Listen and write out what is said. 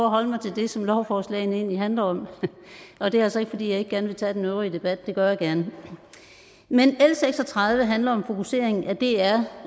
holde mig til det som lovforslagene egentlig handler om og det er altså ikke fordi jeg ikke gerne vil tage den øvrige debat det gør jeg gerne men l seks og tredive handler om fokusering af dr